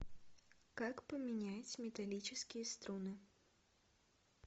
как поменять металлические струны